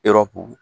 Yɔrɔ ko